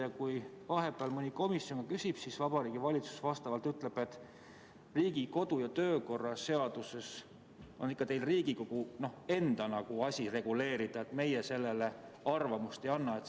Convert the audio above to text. Ja kui mõni komisjon on küsinud, siis Vabariigi Valitsus on öelnud, et Riigikogu kodu- ja töökorra seadus on ikka Riigikogu enda asi reguleerida, nemad selle kohta arvamust ei avalda.